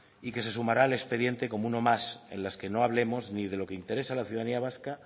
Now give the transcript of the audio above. y que se sumará al expediente como uno más en las que no hablemos ni de lo que interesa a la ciudadanía vasca